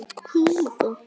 Viltu lofa mér því?